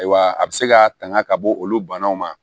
Ayiwa a bɛ se ka tanga ka bɔ olu banaw ma